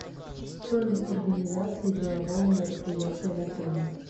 стоимость организации делового мероприятия в отеле